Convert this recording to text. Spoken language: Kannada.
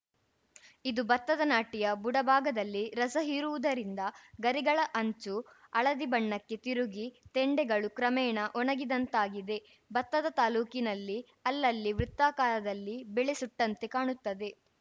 ಇದು ಬತ್ತದ ನಾಟಿಯ ಬುಡಭಾಗದಲ್ಲಿ ರಸ ಹೀರುವುದರಿಂದ ಗರಿಗಳ ಅಂಚು ಹಳದಿ ಬಣ್ಣಕ್ಕೆ ತಿರುಗಿ ತೆಂಡೆಗಳು ಕ್ರಮೇಣ ಒಣಗಿದಂತಾಗಿದೆ ಬತ್ತದ ತಾಕಿನಲ್ಲಿ ಅಲ್ಲಲ್ಲಿ ವೃತ್ತಾಕಾರದಲ್ಲಿ ಬೆಳೆ ಸುಟ್ಟಂತೆ ಕಾಣುತ್ತದೆ